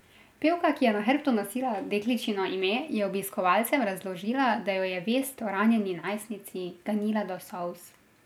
Pevka, ki je na hrbtu nosila dekličino ime, je obiskovalcem razložila, da jo je vest o ranjeni najstnici ganila do solz.